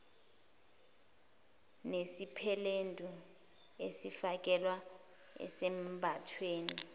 nesipeledu esifakelwa esambathweni